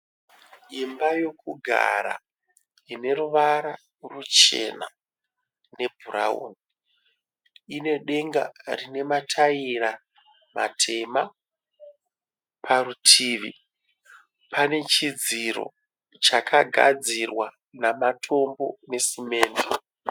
Imba yekugara ine ruvara ruchena ne brown, ine denga rine mataira matema, parutivi pane chidziro chakagadzirwa namatombo necement.